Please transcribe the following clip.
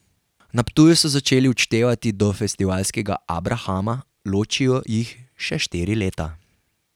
Na Ptuju so začeli odštevati do festivalskega abrahama, ločijo jih še štiri leta.